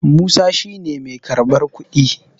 Musa shi ne mai karɓar kuɗi